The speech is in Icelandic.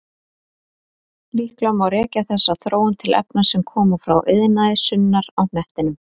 Líklega má rekja þessa þróun til efna sem koma frá iðnaði sunnar á hnettinum.